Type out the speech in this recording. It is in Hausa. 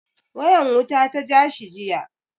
Wayan wuta ta ja shi jiya.